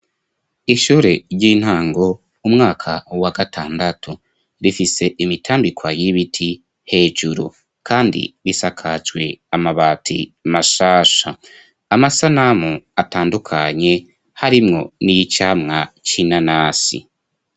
Ishure ry'intango umwaka wa gatandatu, rifise imitambikwa y'ibiti hejuru ,kandi risakajwe amabati mashasha, amasanamu atandukanye harimwo n'iyicamwa c'inanasi.